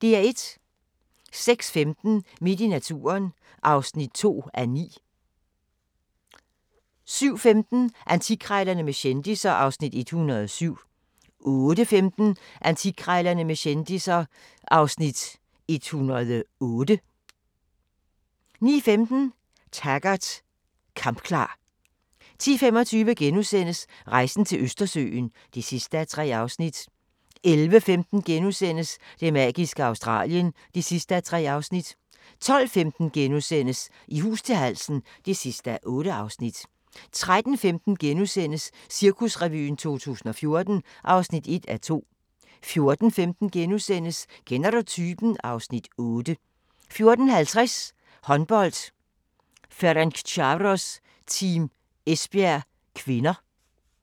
06:15: Midt i naturen (2:9) 07:15: Antikkrejlerne med kendisser (Afs. 107) 08:15: Antikkrejlerne med kendisser (Afs. 108) 09:15: Taggart: Kampklar 10:25: Rejsen til Østersøen (3:3)* 11:15: Det magiske Australien (3:3)* 12:15: I hus til halsen (8:8)* 13:15: Cirkusrevyen 2014 (1:2)* 14:15: Kender du typen? (Afs. 8)* 14:50: Håndbold: Ferencvaros-Team Esbjerg (k)